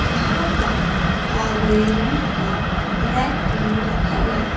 यहां पर काले रंग का रैक भी रखा गया--